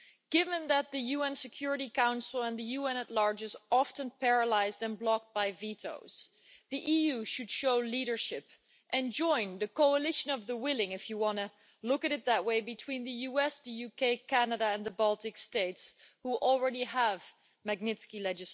Given that the UN Security Council and the UN generally is often paralysed and blocked by vetoes, the EU should show leadership and join the coalition of the willing if you want to look at it that way between the USA, the UK, Canada and the Baltic states, which already have Magnitsky' laws.